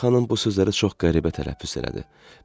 Mələkə xanım bu sözləri çox qəribə tələffüz elədi.